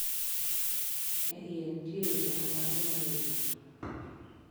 E iye nitie winyo ma nyako ma nego ji.